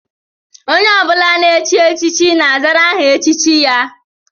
Onye ọ bụla na-echi echichi na-azara aha echichi ya